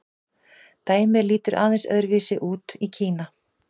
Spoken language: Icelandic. dæmið lítur aðeins öðru vísi út í kína